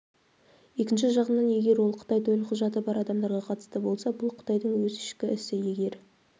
екінші жағынан егер ол қытай төлқұжаты бар адамдарға қатысты болса бұл қытайдың өз ішкі ісі егер